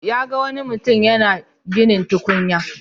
Ya ga wani mutim yana ginin tukunya,